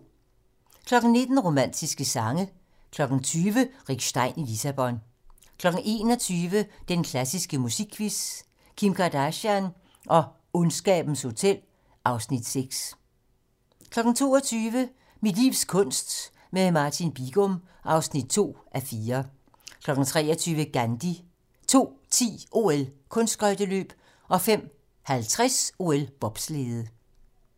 19:00: Romantiske sange 20:00: Rick Stein i Lissabon 21:00: Den klassiske musikquiz: Kim Kardashian og Ondskabens hotel (Afs. 6) 22:00: Mit livs kunst - med Martin Bigum (2:4) 23:00: Gandhi 02:10: OL: Kunstskøjteløb 05:50: OL: Bobslæde